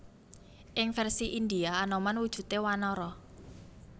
Ing vèrsi Indhia Anoman wujudé wanara